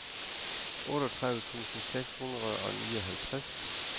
otteogtredive tusind seks hundrede og nioghalvtreds